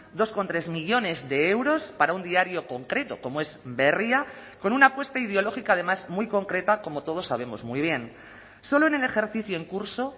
dos coma tres millónes de euros para un diario concreto como es berria con una apuesta ideológica además muy concreta como todos sabemos muy bien solo en el ejercicio en curso